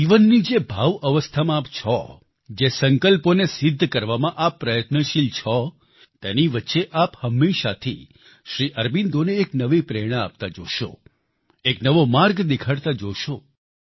જીવનની જે ભાવઅવસ્થામાં આપ છો જે સંકલ્પોને સિદ્ધ કરવામાં આપ પ્રયત્નશીલ છો તેની વચ્ચે આપ હંમેશાથી શ્રી અરબિંદોને એક નવી પ્રેરણા આપતા જોશો એક નવો માર્ગ દેખાડતા જોશો